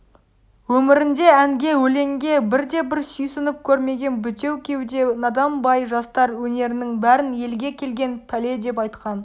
өмірінде әнге өлеңге бірде-бір сүйсініп көрмеген бітеу кеуде надан бай жастар өнерінің бәрін елге келген пәле деп айтқан